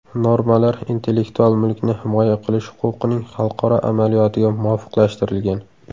Normalar intellektual mulkni himoya qilish huquqining xalqaro amaliyotiga muvofiqlashtirilgan.